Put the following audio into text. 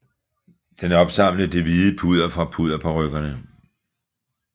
Den opsamlede det hvide pudder fra pudderparykkerne